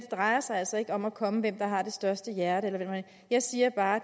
drejer sig altså ikke om at komme med hvem der har det største hjerte jeg siger bare